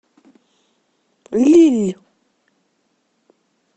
лилль